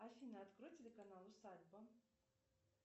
афина открой телеканал усадьба